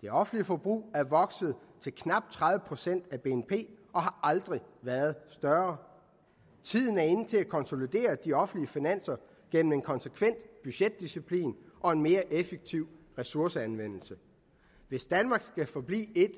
det offentlige forbrug er vokset til knap tredive procent af bnp og har aldrig været større tiden er inde til at konsolidere de offentlige finanser gennem en konsekvent budgetdiciplin og en mere effektiv ressourceanvendelse hvis danmark skal forblive et